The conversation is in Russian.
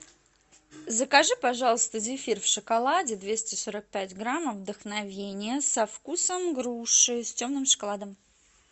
закажи пожалуйста зефир в шоколаде двести сорок пять граммов вдохновение со вкусом груши с темным шоколадом